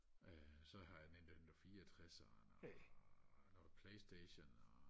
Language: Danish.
øh så har jeg en nintendo fireogtredser og noget playstation og